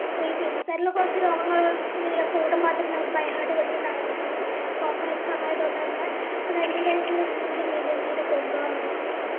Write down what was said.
famous ആയിറ്റുള്ള കൊറച്ച് രോഗങ്ങള് ഏർ code മാത്രം നമ്മള് byheart പഠിക്കണ്ട ആവശ്യമുള്ളു ബാക്കി നമുക്ക് open exam ആയത്കൊണ്ട് തന്നെ അതിനതിൻറെതായിറ്റുള്ള രീതില് maintain കൊണ്ടുപോവാൻ വേണ്ടി പറ്റും